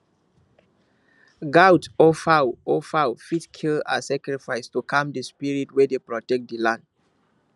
goat or fowl or fowl fit kill as sacrifice to calm the spirit wey dey protect the land